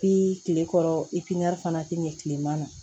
Bi kile kɔrɔ i pipiniyɛri fana tɛ ɲɛ tileman na